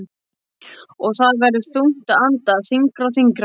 Og það verður þungt að anda, þyngra og þyngra.